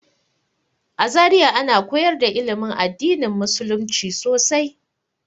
A Zariya ana koyar da ilimin addinin musulumci sosai.